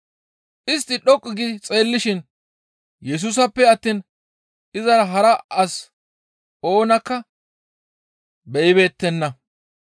Istti dhoqqu gi xeellishin Yesusappe attiin izara hara as oonakka be7ibeettenna.